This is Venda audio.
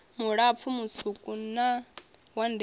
mulapfu mutswuku wa ndele a